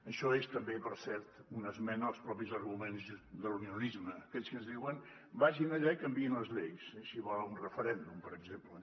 això és també per cert una esmena als propis arguments de l’unionisme aquells que ens diuen vagin allà i canviïn les lleis si volen un referèndum per exemple